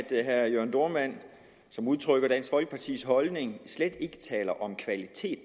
herre jørn dohrmann som udtrykker dansk folkepartis holdning slet ikke taler om kvalitet